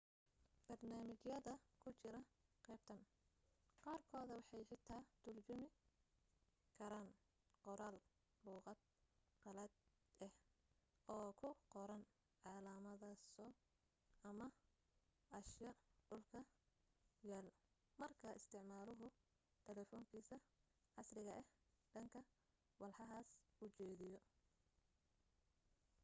barnaamijyada ku jira qaybtan qaarkood waxay xitaa turjumi karaan qoraal luuqad qalaad ah oo ku qoran calaamaso ama ashyaa dhulka yaal marka isticmaaluhu taleefankiisa casriga ah dhanka walxahaas u jeediyo